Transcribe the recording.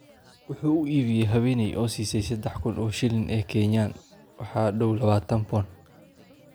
Wuxuu u iibiyey haweenay oo siisay sadex kun oo shilin ee Kenya - waxaa dhow lawatan pond.